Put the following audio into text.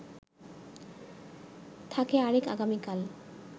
থাকে আরেক আগামীকাল